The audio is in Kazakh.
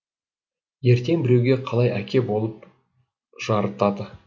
ертең біреуге қалай әке болып жарытады